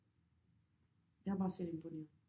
Jeg er bare så imponeret